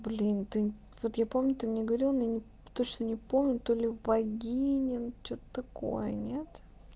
блин ты вот я помню ты мне говорил но я точно не помню то ли богиня ну что-то такое нет